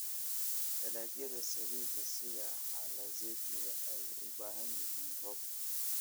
Dalagyada saliidda sida alizeti waxay u baahan yihiin roob.